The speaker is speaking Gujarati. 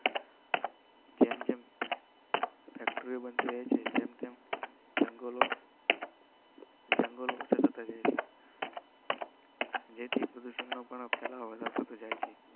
ફેક્ટરી બંધ રહે છે. જંગલ જેથી પ્રદુષણ પણ ફેલાવતો જાય છે.